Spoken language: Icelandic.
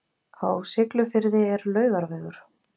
Á Siglufirði er Laugarvegur.